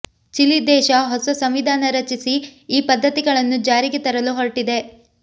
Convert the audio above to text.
Chile ದೇಶ ಹೊಸ ಸಂವಿಧಾನ ರಚಿಸಿ ಈ ಪದ್ಧತಿಗಳನ್ನು ಜಾರಿಗೆ ತರಲು ಹೊರಟಿದೆ